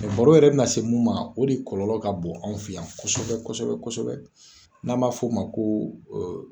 Mɛ baro yɛrɛ min na se mun ma o de kɔlɔlɔ ka bɔ anw fɛ yan kosɛbɛ kosɛbɛ kosɛbɛ n'an b'a f'o ma ko